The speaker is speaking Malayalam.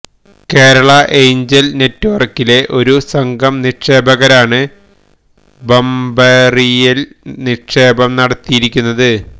കേരള എയ്ഞ്ജല് നെറ്റ്വര്ക്കിലെ ഒരു സംഘം നിക്ഷേപകരാണ് ബംബെറിയില് നിക്ഷേപം നടത്തിയിരിക്കുന്നത്